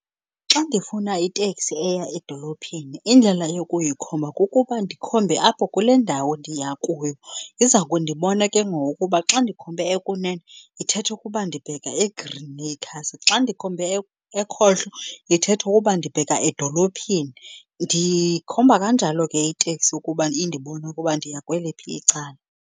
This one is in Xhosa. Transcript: Xa ndifuna iteksi eya edolophini indlela yokuyikhomba kukuba ndikhombe apho kule ndawo ndiya kuyo. Iza kundibona ke ngoku kuba xa ndikhombe ekunune, ithetha ukuba ndibheka eGreenacres, xa ndikhombe ekhohlo, ithetha ukuba ndibheka edolophini. Ndiyikhomba kanjalo ke iteksi ukuba indibone ukuba ndiya kweliphi icala.